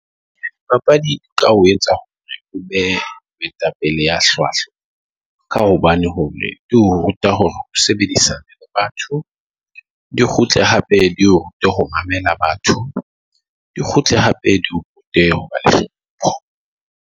Papadi e ka ho etsa hore o be moetapele ya hlwahlwa, ka hobane hore di o ruta hore o sebedisa batho. Di kgutle hape di rute ho mamela batho, Di kgutle hape hobane